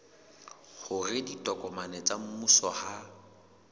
hore ditokomane tsa mmuso ha